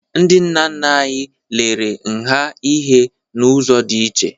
Ndị nna nna anyị lelere nha ihe n'ụzọ dị iche